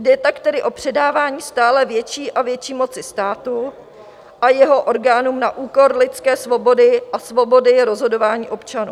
Jde tak tedy o předávání stále větší a větší moci státu a jeho orgánům na úkor lidské svobody a svobody rozhodování občanů.